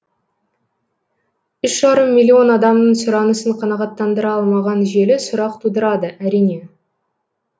үш жарым миллион адамның сұранысын қанағаттандыра алмаған желі сұрақ тудырады әрине